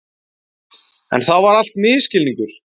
En það var allt misskilningur.